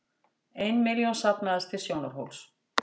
Ein milljón safnaðist til Sjónarhóls